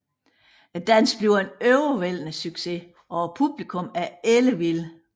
Dansen bliver en overvældende succes og publikummet er ellevildt